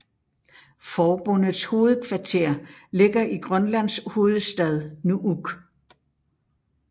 Forbundets hovedkvarter ligger i Grønlands hovedstad Nuuk